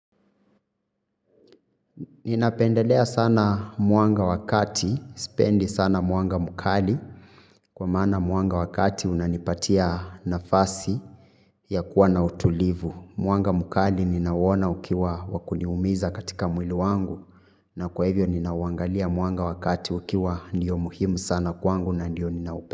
Ninapendelea sana mwanga wa kati, sipendi sana mwanga mkali, kwa maana mwanga wa kati unanipatia nafasi ya kuwa na utulivu. Mwanga mkali ninauona ukiwa wakuniumiza katika mwili wangu na kwa hivyo ninauangalia mwanga wakati ukiwa ndiyo muhimu sana kwangu na ndiyo ninaupenda.